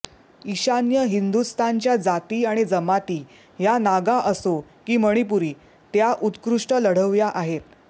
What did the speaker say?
ईशान्य हिंदुस्थानच्या जाती आणि जमाती या नागा असो की मणिपुरी त्या उत्कृष्ट लढवय्या आहेत